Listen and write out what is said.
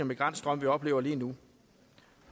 migrantstrøm vi oplever lige nu